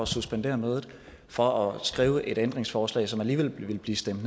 suspendere mødet for at skrive et ændringsforslag som alligevel ville blive stemt